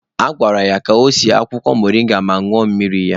A gwara ya sie akwụkwọ moringa ma ñụọ mmiri ya.